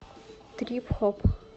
трип хоп